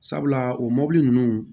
Sabula o mɔbili ninnu